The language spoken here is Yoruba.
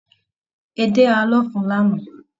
Edé háà lọfun lana.